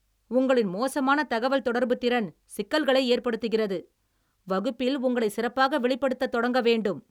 உங்களின் மோசமான தகவல்தொடர்பு திறன் சிக்கல்களை ஏற்படுத்துகிறது, வகுப்பில் உங்களை சிறப்பாக வெளிப்படுத்தத் தொடங்க வேண்டும்.